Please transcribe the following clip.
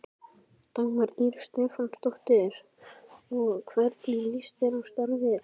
Dagmar Ýr Stefánsdóttir: Og hvernig líst þér á starfið?